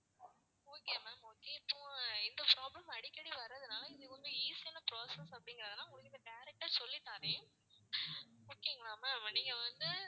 okay ma'am okay இப்போ இந்த problem அடிக்கடி வர்றதுனால இது வந்து easy யான process அப்படின்றதுனால உங்களுக்கு direct ஆ சொல்லி தாறேன் okay ங்களா ma'am நீங்க வந்து